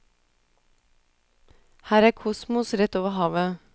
Her er kosmos rett over havet.